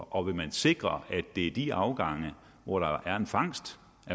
og vil man sikre at det er de afgange hvor der er en fangst